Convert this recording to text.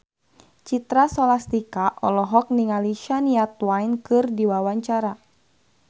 Citra Scholastika olohok ningali Shania Twain keur diwawancara